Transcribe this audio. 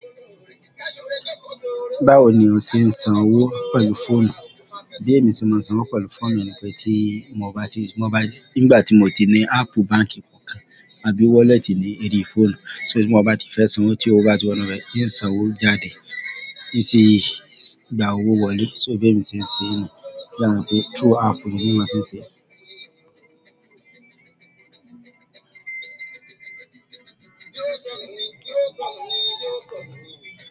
Báwo ni o ṣe ń san owó pẹ̀lú fóònù? Bí èmi ṣe máa ń san owó pẹ̀lú fóònù ni pé tí mo bá ti, mo bá ní, nígbà tí mo ti ní áápù báǹkì kankan àbí wọ́lẹ́tì ní orí fóònù, so tí mo bá ti fẹ́ san owó tí owó bá ti wọ inú rẹ̀, ìsan owó jáde, gba owó wọlé, so bí èmi ṣe ń ṣe é ni. O dàbí ẹni pé glo áápù ni èmi máa ń fi ṣe é.